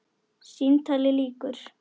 Símtali lýkur.